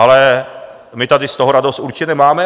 Ale my tady z toho radost určitě nemáme.